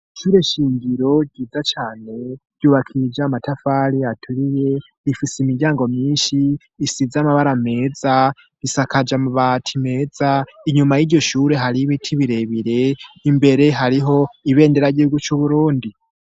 ikire shingiro ryiza cane ryubakija amatafari aturiye rifise imiryango myinshi isize amabara meza isakaje amabati meza inyuma y'iryoshure hari y'ibiti birebire imbere hariho ibendera ry'ihugu c'uburundi.